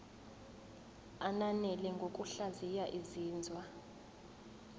ananele ngokuhlaziya izinzwa